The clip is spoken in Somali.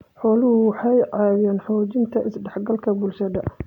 Xooluhu waxay caawiyaan xoojinta is-dhexgalka bulshada.